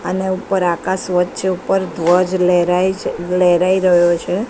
અને ઉપર આકાશ વચ્ચે ઉપર ધ્વજ લહેરાય છે લહેરાઈ રહ્યો છે.